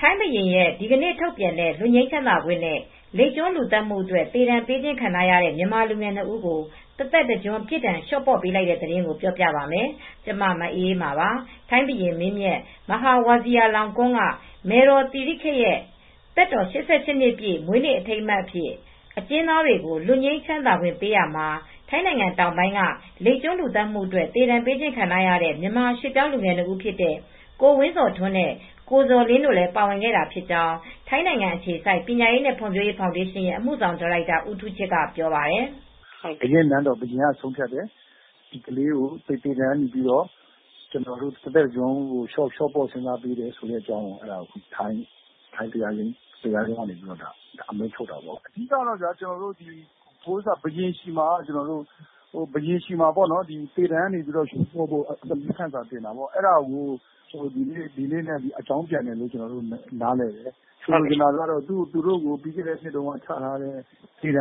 ထိုင်းဘုရင်ရဲ့ ဒီကနေ့ထုတ်ပြန်တဲ့ လွတ်ငြိမ်းချမ်းသာခွင့်နဲ့ လိပ်ကျွန်းလူသတ်မှုအတွက် သေဒဏ်ပေးခံထားရတဲ့ မြန်မာလူငယ် နှစ် ဦးကို တသက်တကျွန်းပြစ်ဒဏ် လျှော့ပေါ့လိုက်တဲ့အကြောင်းပြောပြပါမယ်။ ဗွီအိုအေမြန်မာပိုင်းသတင်းထောက် မအေးအေးမာက ထိုင်းမြန်မာနယ်စပ်ကနေ သတင်းပေးပို့ထားပါတယ်။ ထိုင်းဘုရင်မင်းမြတ် မဟာဝဇီရာလောင်ကွန်းက မယ်တော် သီရိခက်ရဲ့ သက်တော် ၈၈ နှစ်ပြည့် မွေးနေ့အထိမ်းအမှတ်အဖြစ် အကျဉ်းသားတွေကို လွတ်ငြိမ်းသက်သာခွင့်ပေးရာမှာ ထိုင်းနိုင်ငံတောင်ပိုင်းက လိပ်ကျွန်းလူသတ်မှုအတွက် သေဒဏ်ပေးခံခဲ့ရတဲ့ မြန်မာရွှေ့ပြောင်းလူငယ် နှစ် ဦးဖြစ်တဲ့ ကိုဝင်းဇော်ထွန်းနဲ့ ကိုဇော်လင်းတို့လည်း ပါဝင်ခဲ့တာဖြစ်ကြောင်းထိုင်းနိုင်ငံ အခြေစိုက်ပညာရေးနဲ့ ဖွံ့ဖြိုးရေးဖောင်ဒေးရှင်းရဲ့ အမှုဆောင်ဒါရိုက်တာ ဦးထူးချစ်ကပြောပါတယ်။ "ဘုရင့်နန်းတော်က ဘုရင်က ဆုံးဖြတ်တယ်။ သေဒဏ်ကနေ တသက်တကျွန်း လျှော့ပေါ့စဉ်းစားပေးတယ်။ တရားရုံးကနေ အမိန့် ထုတ်တာပေါ့။ အဓိကတော့ ဘုရင်ဆီမှာ သေဒဏ်ကနေ လျှော့ပေါ့ပေးတာ တနည်းနည်းနဲ့ အကြောင်းပြန်တယ်လို့ နားလည်တယ်။ ဒါကတော့ သူတိုကို ပြီးခဲ့နှစ်က သေဒဏ်ချထားရာကနေ တ